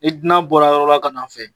I dunan bɔra yɔrɔ la ka n'anw fɛ